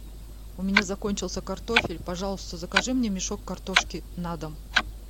у меня закончился картофель пожалуйста закажи мне мешок картошки на дом